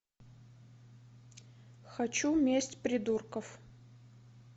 хочу месть придурков